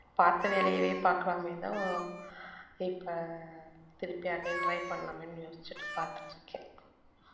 பார்த்த வேலையவே பார்க்கலாமேன்னுதான் இப்ப திருப்பி again try பண்ணலாமேன்னு யோசிச்சுட்டு பாத்துட்டு இருக்கேன்